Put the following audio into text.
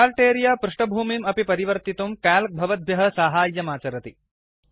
chart अरेऽ पृष्ठभूमिम् अपि परिवर्तितुं क्याल्क् भवद्भ्यः साहाय्यमाचरति